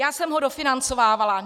Já jsem ho dofinancovávala.